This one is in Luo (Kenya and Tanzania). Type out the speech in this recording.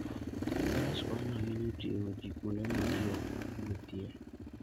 Faras konyo ahinya e ting'o ji kuonde ma ji ok wuothie.